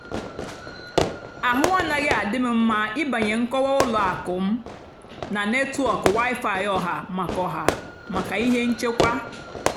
àhụ́ ànaghị́ àdì m mmá ị́bànyé nkọ́wá ùlọ àkụ́ m nà nétwọ́k wi-fi ọ̀hà màkà ọ̀hà màkà íhé nchèkwà.